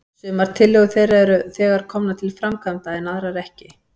Sumar tillögur þeirra eru þegar komnar til framkvæmda, en aðrar ekki.